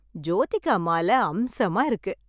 ஜோதிகா மால அம்சமா இருக்கு!